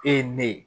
E ye ne ye